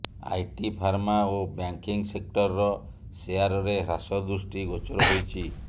IT pharma ଓ banking ସେକ୍ଟରର ଶେୟାରରେ ହ୍ରାସ ଦୃଷ୍ଟି ଗୋଚର ହୋଇଛି